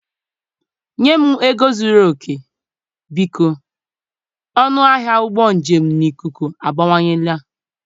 Nye m ego zuru oke, biko, ọnụ ahịa ụgbọ njem na ikuku abawanyela.